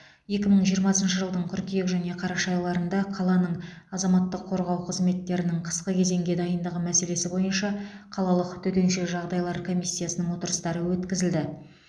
екі мың жиырмасыншы жылдың қыркүйек және қараша айларында қаланың азаматтық қорғау қызметтерінің қысқы кезеңге дайындығы мәселесі бойынша қалалық төтенше жағдайлар комиссиясының отырыстары өткізілді